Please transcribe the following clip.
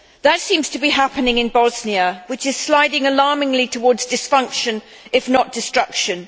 That seems to be happening in Bosnia, which is sliding alarmingly towards dysfunction if not destruction.